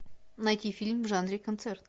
найти фильм в жанре концерт